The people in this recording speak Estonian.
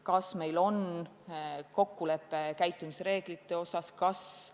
Kas meil on kokkulepe käitumisreeglite osas?